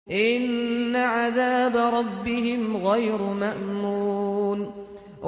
إِنَّ عَذَابَ رَبِّهِمْ غَيْرُ مَأْمُونٍ